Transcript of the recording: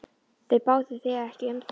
Þau báðu þig ekki um það?